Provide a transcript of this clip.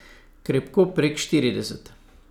Krepko prek štirideset.